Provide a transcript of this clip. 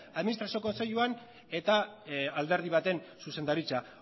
administrazio kontseiluan eta alderdi baten zuzendaritza